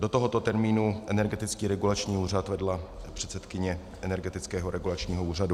Do tohoto termínu Energetický regulační úřad vedla předsedkyně Energetického regulačního úřadu.